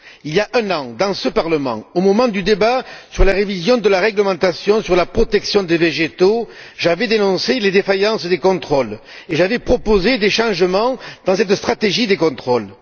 Il y a un an, dans ce Parlement, au moment du débat sur la révision de la réglementation sur la protection des végétaux j'avais dénoncé les défaillances des contrôles et j'avais proposé d'apporter des modifications à cette stratégie des contrôles.